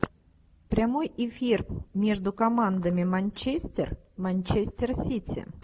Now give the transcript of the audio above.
прямой эфир между командами манчестер манчестер сити